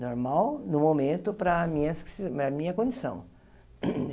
Normal no momento para a minha se para a minha condição.